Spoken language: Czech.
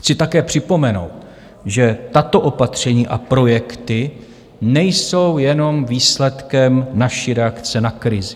Chci také připomenout, že tato opatření a projekty nejsou jenom výsledkem naší reakce na krizi.